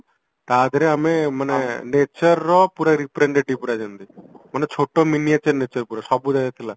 ଟା ଧିଅରେ ଆମେ ମାନେ natureର ପୁରା representative ପୁରା ଯେମିତି ମାନେ ଛୋଟ